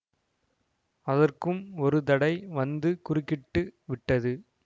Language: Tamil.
அதற்கும் ஒரு தடை வந்து குறுக்கிட்டு விட்டது